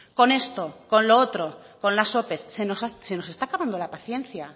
con esto con lo otro con las ope se nos está acabando la paciencia